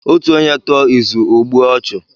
Otu onye tụọ izu, ọ gbue ọchụ.